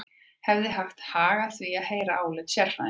Hefði haft hag að því að heyra álit sérfræðinga.